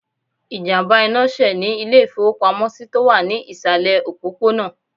Ìjàmbá iná sè ní Ilé ìfowópamósí tó wà ní ìsàlẹ̀ òpópónà